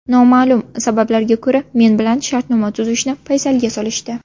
Noma’lum sabablarga ko‘ra men bilan shartnoma tuzishni paysalga solishdi.